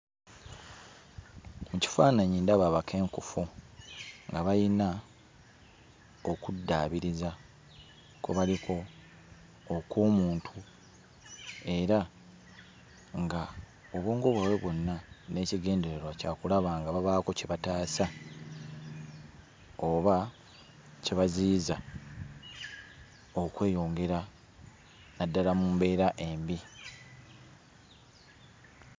Mu kifaananyi ndaba abakenkufu abalina okuddaabiriza kwe baliko okw'omuntu era ng'obwongo bwabwe bwonna n'ekigendererwa kya kulaba nga babaako kye bataasa oba kye baziyiza okweyongera naddala mu mbeera embi.